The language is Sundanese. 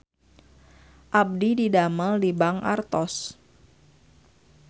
Abdi didamel di Bank Artos